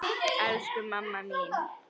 Elsku mamma mín.